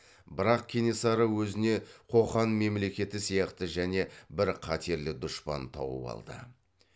бірақ кенесары өзіне қоқан мемлекеті сияқты және бір қатерлі дұшпан тауып алды